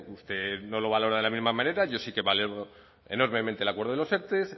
usted no lo valora de la misma manera yo sí que valoro enormemente el acuerdo de lo erte